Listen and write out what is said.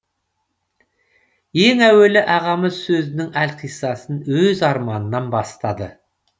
ең әуелі ағамыз сөзінің әлқиссасын өз арманынан бастады